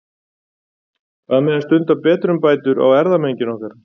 Hvað með að stunda betrumbætur á erfðamenginu okkar?